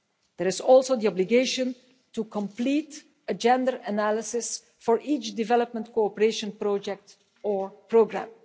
There is also the obligation to complete a gender analysis for each development cooperation project or programme.